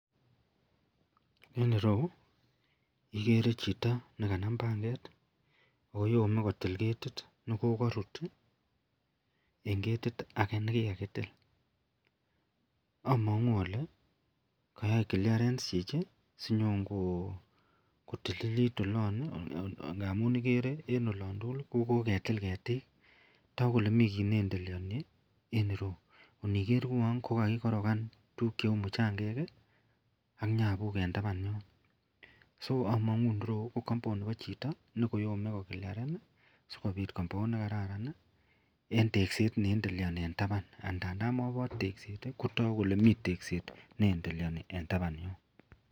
En irou ikere chito nekanam panget oyome kotil ketit nekokirut tii en ketit age nekikakitil omongu ole kayai [ca]clearence chichi sinyon ko kotililit olon nii ngamun ikere en olon tukuk ko koketil ketik taku kole mii kit ne endeleoni en irou. Inikere ko uwon kakikorogan tukuk cheu muchagek kii an nyabuk en taban yuun, so omongu irou ko compound nebo chito nekoyome ko clearen sikopit compound nekararan nii en tekset ne eldeleoni en taban. Ngandan mobor tekset tii ko toku kele mii tekset ne endeleoni en taban yon.